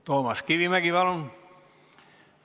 Toomas Kivimägi, palun!